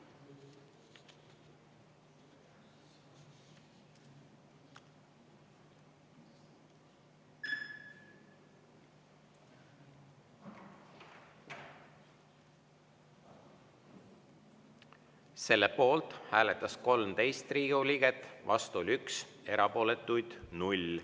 Selle poolt hääletas 13 Riigikogu liiget, vastu oli 1, erapooletuid 0.